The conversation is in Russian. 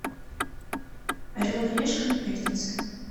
орел и решка на пятнице